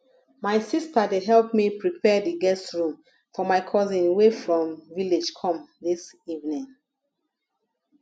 my sister dey help me prepare the guest room for my cousin wey from village come dis evening